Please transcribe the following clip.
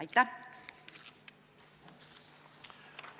Aitäh!